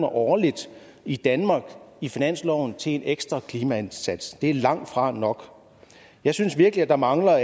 årligt i danmark i finansloven til en ekstra klimaindsats det er langtfra nok jeg synes virkelig at der mangler